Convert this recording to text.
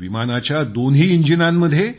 विमानाच्या दोन्ही इंजिनांमध्ये